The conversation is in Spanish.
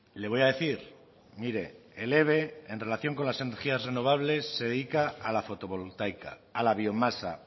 le voy a decir mire el eve en relación con las energías renovables se dedica a la fotovoltaica a la biomasa